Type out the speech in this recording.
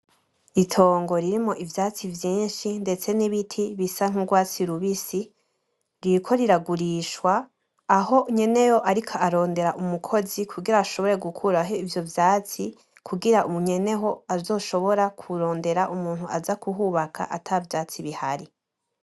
Itongo ririmwo ivyatsi vyinshi ndetse n'ibiti bisa nk'urwatsi rubisi, ririko riragurishwa aho nyeneho ariko arondera umukozi kugira ashobore gukuraho ivyo vyatsi kugira nyeneho azoshobora kurondera umuntu aza kuhubaka ata vyatsi bihari.